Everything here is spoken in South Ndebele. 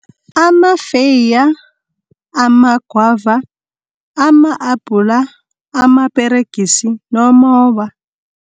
Amafeeya, amagwava, ama-apula, amaperegisi nomoba.